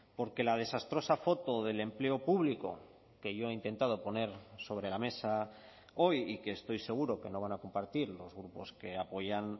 porque la desastrosa foto del empleo público que yo he intentado poner sobre la mesa hoy y que estoy seguro que no van a compartir los grupos que apoyan